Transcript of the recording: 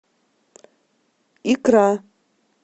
икра